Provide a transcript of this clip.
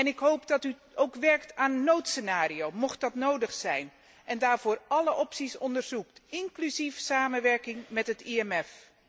Ik hoop dat u ook werkt aan een noodscenario, mocht dat nodig zijn, en daarvoor alle opties onderzoekt, inclusief samenwerking met het IMF.